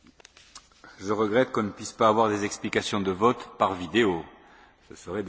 Je regrette qu'on ne puisse pas avoir des explications de vote par vidéo, ce serait délicieux.